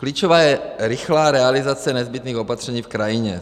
Klíčová je rychlá realizace nezbytných opatření v krajině.